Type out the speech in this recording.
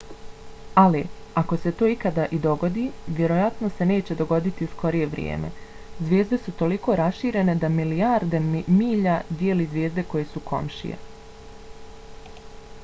ali ako se to ikada i dogodi vjerojatno se neće dogoditi u skorije vrijeme. zvijezde su toliko raširene da milijarde milja dijeli zvijezde koje su komšije